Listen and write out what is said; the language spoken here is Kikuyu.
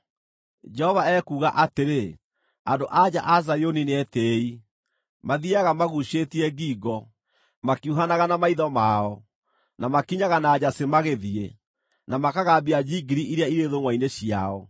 Jehova ekuuga atĩrĩ, “Andũ-a-nja a Zayuni nĩetĩĩi, mathiiaga maguucĩtie ngingo, makiuhanaga na maitho mao, na makinyaga na njacĩ magĩthiĩ, na makagambia njingiri iria irĩ thũngʼwa-inĩ ciao.